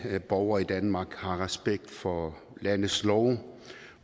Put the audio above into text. at alle borgere i danmark har respekt for landets love